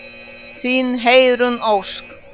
Þín, Heiðrún Ósk.